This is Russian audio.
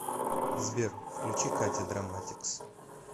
сбер включи катя драматикс